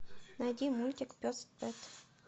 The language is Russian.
найди мультик пес пэт